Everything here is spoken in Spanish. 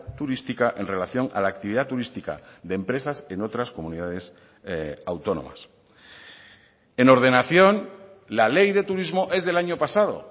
turística en relación a la actividad turística de empresas en otras comunidades autónomas en ordenación la ley de turismo es del año pasado